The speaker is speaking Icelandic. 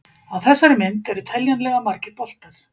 Á þessari mynd eru teljanlega margir boltar.